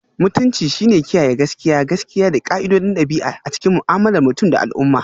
Mutunci shine kiyaye gaskiya, gaskiya, da ƙa'idodin ɗabi'a a cikin mu'amalar mutum da al'umma.